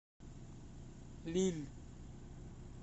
лилль